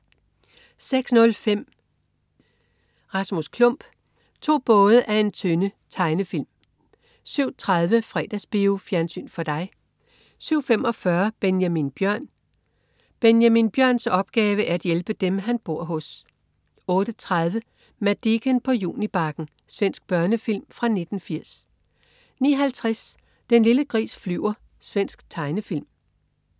06.05 Rasmus Klump. To både af en tønde. Tegnefilm 07.30 Fredagsbio. Fjernsyn for dig 07.45 Benjamin Bjørn. Benjamin Bjørns opgave er at hjælpe dem, han bor hos 08.30 Madicken på Junibakken. Svensk børnefilm fra 1980 09.50 Den lille gris flyver. Svensk tegnefilm